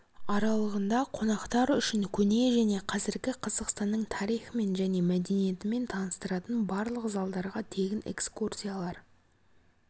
аралығында қонақтар үшін көне және қазіргі қазақстанның тарихымен және мәдениетімен таныстыратын барлық залдарға тегін экскурсиялар